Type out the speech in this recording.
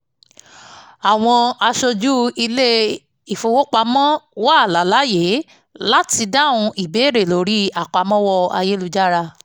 àwọn aṣojú ilé-ifowopamọ́ wà láláàyè láti dáhùn ìbéèrè lórí àpamọ́ ayélujára